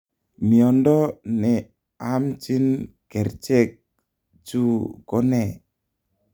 Miondo ne aamchiin kerchek chu ko ne?